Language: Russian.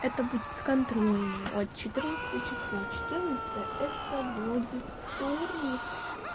это будет контрольная от четырнадцатого числа четырнадцатое это вроде вторник